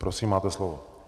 Prosím, máte slovo.